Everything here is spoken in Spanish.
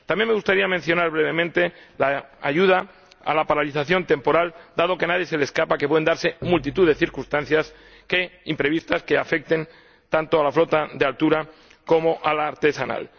También me gustaría mencionar brevemente la ayuda a la paralización temporal, dado que a nadie se le escapa que pueden darse multitud de circunstancias imprevistas que afecten tanto a la flota de altura como a la artesanal.